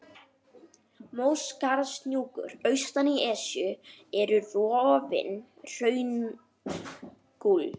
Móskarðshnúkar austan í Esju eru rofinn hraungúll.